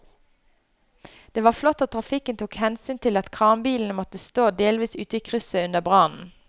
Det var flott at trafikken tok hensyn til at kranbilen måtte stå delvis ute i krysset under brannen.